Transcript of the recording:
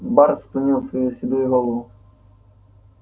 бар склонил свою седую голову